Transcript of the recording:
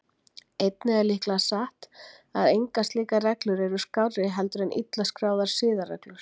Einnig er líklega satt að engar slíkar reglur eru skárri heldur en illa skráðar siðareglur.